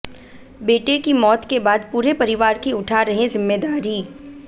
बेटे की मौत के बाद पूरे परिवार की उठा रहे जिम्मेदारी